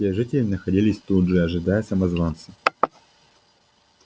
все жители находились тут же ожидая самозванца